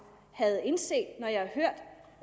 havde indset